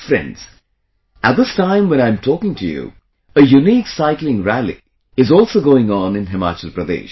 Friends, at this time when I am talking to you, a unique cycling rally is also going on in Himachal Pradesh